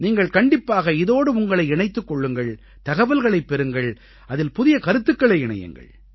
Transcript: நீங்கள் கண்டிப்பாக இதோடு உங்களை இணைத்துக் கொள்ளுங்கள் தகவல்களைப் பெறுங்கள் அதில் புதிய கருத்துக்களை இணையுங்கள்